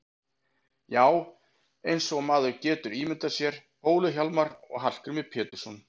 Já, eins og maður getur ímyndað sér Bólu-Hjálmar og Hallgrím Pétursson.